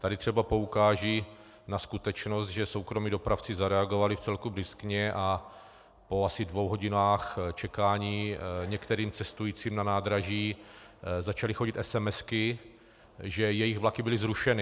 Tady třeba poukážu na skutečnost, že soukromí dopravci zareagovali vcelku bryskně a po asi dvou hodinách čekání některým cestujícím na nádraží začaly chodit esemesky, že jejich vlaky byly zrušeny.